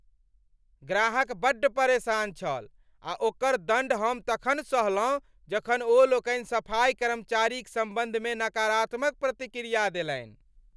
ग्राहक बड्ड परेशान छल आ ओकर दण्ड हम तखन सहलहुँ जखन ओ लोकनि सफाइ कर्मचारीक सम्बन्धमे नकारात्मक प्रतिक्रिया देलनि।